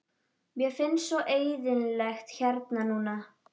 Mér finnst svo eyðilegt hérna núna.